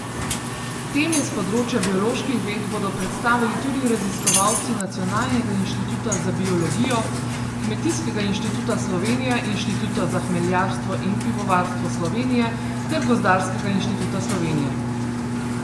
Teme s področja bioloških ved bodo predstavili tudi raziskovalci Nacionalnega inštituta za biologijo, Kmetijskega inštituta Slovenije, Inštituta za hmeljarstvo in pivovarstvo Slovenije ter Gozdarskega inštituta Slovenije.